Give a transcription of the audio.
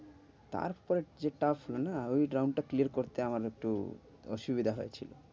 তারপর যেটা শোনা ওই round টা clear করতে আমার একটু অসুবিধা হয়েছিল,